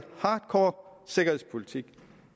hardcore sikkerhedspolitik